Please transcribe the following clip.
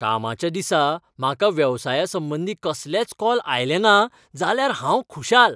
कामाच्या दिसा म्हाका वेवसाया संबंदीं कसलेंच कॉल आयले ना जाल्यार हांव खुशाल!